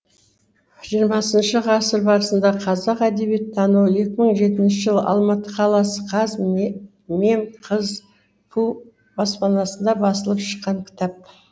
жиырмасыншы ғасыр басында қазақ әдебиеттануы екі мың жетінші жылы алматы қаласы қазмемқызпу баспасында басылып шыққан кітап